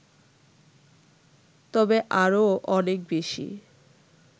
তবে আরও অনেক বেশি